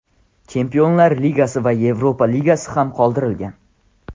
Chempionlar Ligasi va Yevropa Ligasi ham qoldirilgan.